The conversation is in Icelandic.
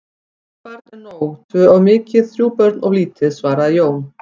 Eitt barn er nóg, tvö of mikið, þrjú börn of lítið, svaraði Jón.